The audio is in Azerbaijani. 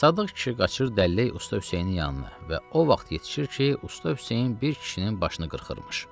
Sadıq kişi qaçır dəllək usta Hüseynin yanına və o vaxt yetişir ki, usta Hüseyn bir kişinin başını qırxırmış.